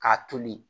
K'a toli